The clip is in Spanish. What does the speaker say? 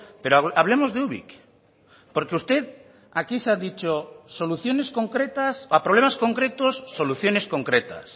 pero hablemos de ubik porque usted aquí se ha dicho soluciones concretas a problemas concretos soluciones concretas